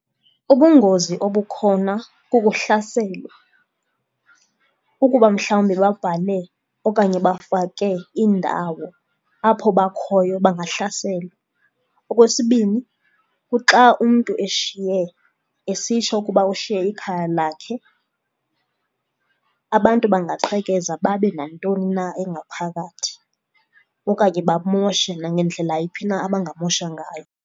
Ubungozi obukhona kukuhlaselwa. Ukuba mhlawumbi babhale okanye bafake indawo apho bakhoyo bangahlaselwa. Okwesibini, kuxa umntu eshiye esitsho ukuba ushiye ikhaya lakhe abantu bangaqhekeza babe nantoni na engaphakathi okanye bamoshe nangendlela yiphi na abangamosha ngayo.